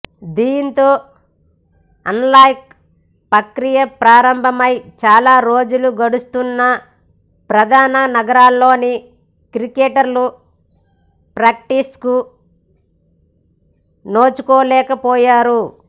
దీంతో అన్లాక్ పక్రియ ప్రారంభమై చాలా రోజులు గడుస్తున్నా ప్రధాన నగరాల్లోని క్రికెటర్లు ప్రాక్టీస్కు నోచుకోలేక పోయారు